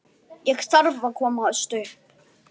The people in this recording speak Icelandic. Thomas hoppaði í land.